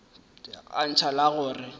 a ntšha la go re